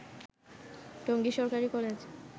টঙ্গী সরকারি কলেজ